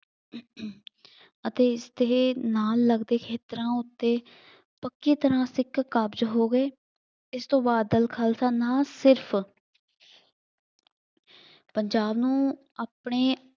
ਅਤੇ ਤੇ ਨਾਲ ਲੱਗਦੇ ਖੇਤਰਾਂ ਉੱਤੇ ਪੱਕੇ ਤਰ੍ਹਾਂ ਸਿੱਖ ਕਾਬਜ਼ ਹੋ ਗਏ। ਇਸ ਤੋਂ ਬਾਅਦ ਦਲ ਖਾਲਸਾ ਨਾਂ ਸਿਰਫ ਪੰਜਾਬ ਨੂੰ ਆਪਣੇ